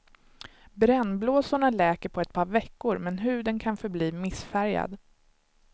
Brännblåsorna läker på ett par veckor, men huden kan förbli missfärgad.